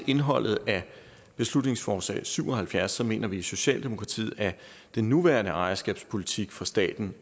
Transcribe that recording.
indholdet af beslutningsforslag b syv og halvfjerds mener vi i socialdemokratiet at den nuværende ejerskabspolitik for staten